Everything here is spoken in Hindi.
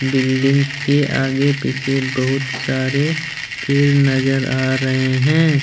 बिल्डिंग के आगे पीछे बहुत सारे पेर नजर आ रहे हैं।